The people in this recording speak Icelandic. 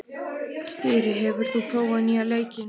Þyri, hefur þú prófað nýja leikinn?